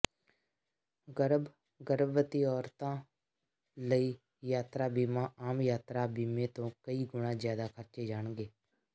ਗਰਭ ਗਰਭਵਤੀ ਔਰਤਾਂ ਲਈ ਯਾਤਰਾ ਬੀਮਾ ਆਮ ਯਾਤਰਾ ਬੀਮੇ ਤੋਂ ਕਈ ਗੁਣਾ ਜ਼ਿਆਦਾ ਖਰਚੇ ਜਾਣਗੇ